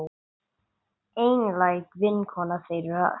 Einlæg vinkona þeirra hjóna.